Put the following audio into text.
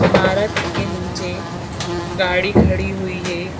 इमारत के नीचे गाड़ी खड़ी हुई है।